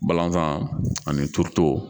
Balanzan ani turuto